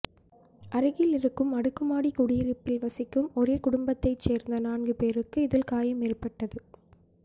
அருகிலிருக்கும் அடுக்குமாடி குடியிருப்பில் வசிக்கும் ஒரே குடும்பத்தை சேர்ந்த நான்கு பேருக்கு இதில் காயம் ஏற்பட்டது